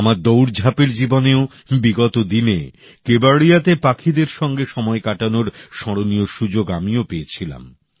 আমার দৌড়ঝাপের জীবনেও বিগত দিনে কেবাড়িয়াতে পাখিদের সঙ্গে সময় কাটানোর স্মরণীয় সুযোগ আমিও পেয়েছিলাম